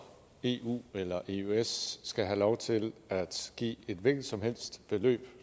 eu eller eøs skal have lov til at give et hvilket som helst beløb